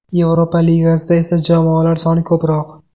Yevropa Ligasida esa jamoalar soni ko‘proq.